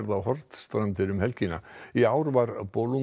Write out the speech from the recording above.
á Hornstrandir um helgina í ár var